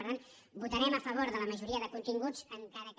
per tant votarem a favor de la majoria de continguts encara que